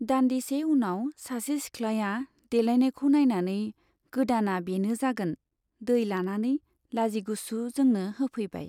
दान्दिसे उनाव सासे सिखलाया देलायनायखौ नाइनानै गोदाना बेनो जागोन दै लानानै लाजिगुसु जोंनो होफैबाय।